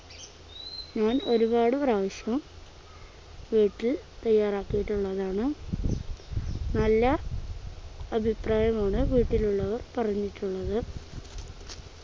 ഞാൻ ഒരുപാട് പ്രാവശ്യം വീട്ടിൽ തയ്യാറാക്കിയിട്ടുള്ളതാണ് നല്ല അഭിപ്രായമാണ് വീട്ടിലുള്ളവർ പറഞ്ഞിട്ടുള്ളത്